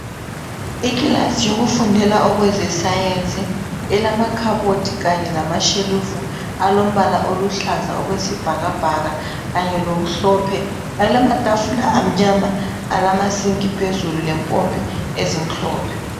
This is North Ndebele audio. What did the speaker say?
Ikilasi yokufundela okwezesayensi, ilamakhabothi kanye lamashelufu, alombala oluhlaza okwesibhakabhaka, kanye lomhlophe. Alamatafula amnyama, alamasinki phezulu, lempompi ezimhlophe.